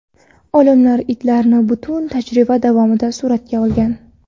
Olimlar itlarni butun tajriba davomida suratga olgan.